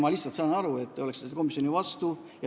Ma saan aru, et te olete selle komisjoni vastu.